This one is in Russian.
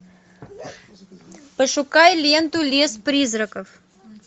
пошукай ленту лес призраков